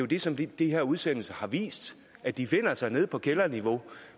det som de her udsendelser har vist at de befinder sig nede på kælderniveau